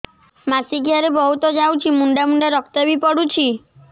ମାସିକିଆ ରେ ବହୁତ ଯାଉଛି ମୁଣ୍ଡା ମୁଣ୍ଡା ରକ୍ତ ବି ପଡୁଛି